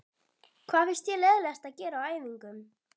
Hvað finnst þér leiðinlegast að gera á æfingum?